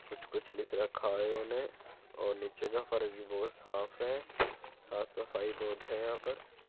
कुछ कुछ लिख रखा है इन्होने और नीचे का फर्श भी बहुत साफ़ है। साफ़ सफाई बहुत है यहाँ पर।